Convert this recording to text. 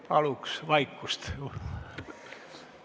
Palun vaikust!